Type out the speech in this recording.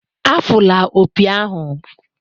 Afụla opi ahụ!